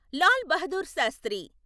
Lal Bahadur Sastry